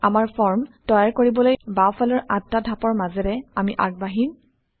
আমাৰ ফৰ্ম তৈয়াৰ কৰিবলৈ বাওঁফালৰ আঠটা ধাপৰ মাজেৰে আমি আগবাঢ়িম